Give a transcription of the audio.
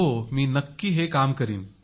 हो मी नक्की हे काम करीन